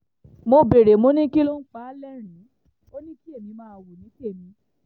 mo béèrè mo ní kí ló ń pa á lẹ́rìn-ín ò ní kí èmi máa wò ní tèmi